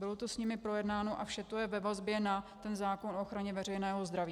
Bylo to s nimi projednáno a vše to je ve vazbě na ten zákon o ochraně veřejného zdraví.